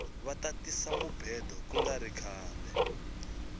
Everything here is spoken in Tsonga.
vata tisa mubhedo kungari khale